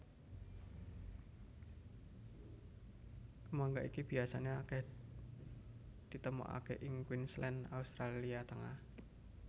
Kemangga iki biasané akèh ditemokaké ing Queensland Australia Tengah